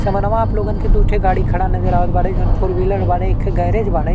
समनवा आप लोगन के दू ठे गाड़ी खड़ा नजर आवत बा। फोरव्हीलर एक ठे गैरेज बाड़े।